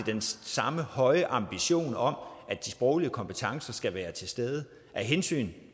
samme høje ambitioner om at de sproglige kompetencer skal være til stede af hensyn